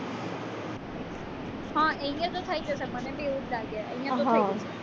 હા અહીંયા તો થઈ જશે મને બી એવું જ લાગે અહીંયા તો થઈ જશે